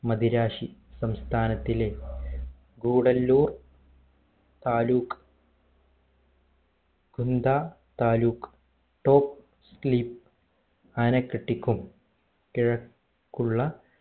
മദിരാശി സംസ്ഥാനത്തിലെ ഗൂഡല്ലൂർ താലൂക് ഗുംത്ത taluk top leep ആനക്കെട്ടിക്കും കിഴക്കുള്ള